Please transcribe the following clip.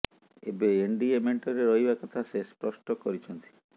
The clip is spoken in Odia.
ଏବେ ଏନଡିଏ ମେଣ୍ଟରେ ରହିବା କଥା ସେ ସ୍ପଷ୍ଟ କରିଛନ୍ତି